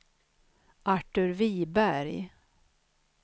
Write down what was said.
Artur Viberg